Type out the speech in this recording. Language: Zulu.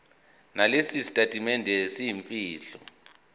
nalesi sitatimende semfihlo